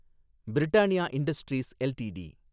Britannia industries LTD